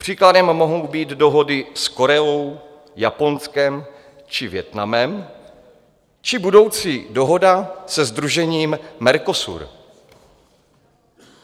Příkladem mohou být dohody s Koreou, Japonskem či Vietnamem či budoucí dohoda se sdružením Mercosur.